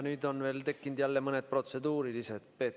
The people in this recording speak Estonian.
Nüüd on tekkinud mõned protseduurilised küsimused.